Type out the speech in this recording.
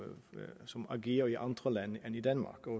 som agerer i andre lande end i danmark